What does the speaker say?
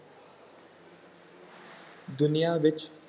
ਦੁਨੀਆਂ ਵਿੱਚ